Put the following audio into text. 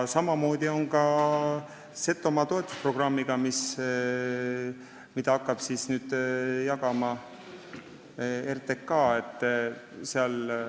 Samamoodi on Setomaa toetusprogrammiga, mille raha hakkab nüüd jagama RTK.